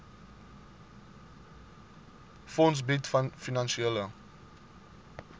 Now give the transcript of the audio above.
fonds bied finansiële